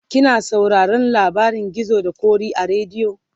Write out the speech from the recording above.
kina sauraron labarin gizo da ƙoki a radio?